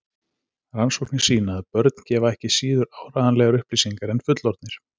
Rannsóknir sýna að börn gefa ekki síður áreiðanlegar upplýsingar en fullorðnir.